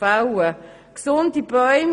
Es handelt sich um gesunde Bäume.